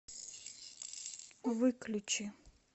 выключи